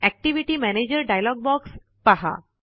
activity manager dialog box पहा